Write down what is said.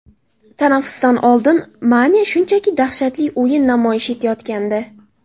Tanaffusdan oldin Mane shunchaki dahshatli o‘yin namoyish etayotgandi.